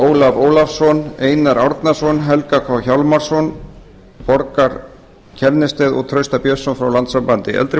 ólaf ólafsson einar árnason helga k hjálmarsson borgþór st kjærnested og trausta björnsson frá landssambandi eldri